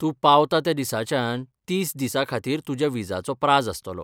तूं पावता त्या दिसाच्यान तीस दिसांखातीर तुज्या विजाचो प्राझ आसतलो.